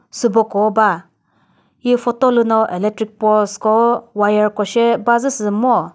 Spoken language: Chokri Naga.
süboko ba hi photo lü no electric post ko wire ko she bazü sü ngo.